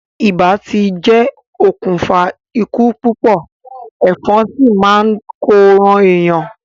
Ibà ti jẹ́ okùnfà ikú púpọ̀, ẹ̀fọn sì ni ó máa n ko ran èèyàn.